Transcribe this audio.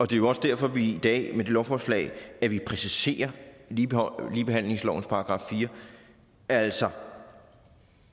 det er også derfor at vi i dag med det her lovforslag præciserer ligebehandlingslovens § fire altså